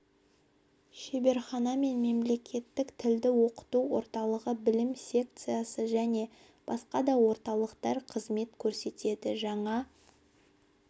шеберхана және мемлекеттік тілді оқыту орталығы білім секциясы және басқа да орталықтар қызмет көрсетеді жаңа